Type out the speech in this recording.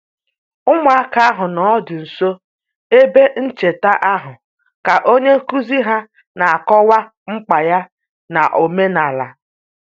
Ụmụaka ahụ nọdụ nso ebe ncheta ahụ ka onye nkuzi ha na-akọwa mkpa ya n'omenala